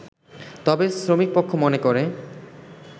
তবে শ্রমিকপক্ষ মনে করে